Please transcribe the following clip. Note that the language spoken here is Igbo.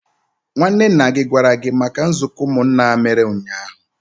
nwanne nna gi gwara gi maka nzuko umunna a mere unyahu?